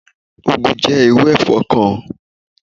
úgu jẹ́ irú ẹ̀fọ́ kan.